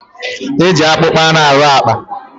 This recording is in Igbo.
E ji akpụkpọ anụ arụ àkpà.